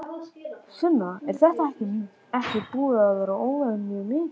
Sunna: Er þetta ekki búið að vera óvenju mikið?